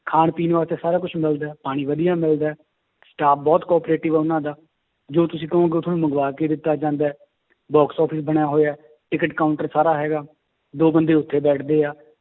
ਖਾਣ ਪੀਣ ਵਾਸਤੇ ਸਾਰਾ ਕੁਛ ਮਿਲਦਾ ਹੈ ਪਾਣੀ ਵਧੀਆ ਮਿਲਦਾ ਹੈ staff ਬਹੁਤ cooperative ਹੈ ਉਹਨਾਂ ਦਾ, ਜੋ ਤੁਸੀਂ ਕਹੋਗੇ ਉਹ ਤੁਹਾਨੂੰ ਮੰਗਵਾ ਕੇ ਦਿੱਤਾ ਜਾਂਦਾ ਹੈ box office ਬਣਿਆ ਹੋਇਆ ਹੈ ਟਿੱਕਟ counter ਸਾਰਾ ਹੈਗਾ, ਦੋ ਬੰਦੇ ਉੱਥੇ ਬੈਠਦੇ ਆ,